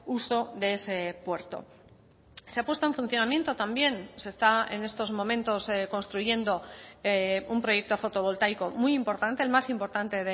uso de ese puerto se ha puesto en funcionamiento también se está en estos momentos construyendo un proyecto fotovoltaico muy importante el más importante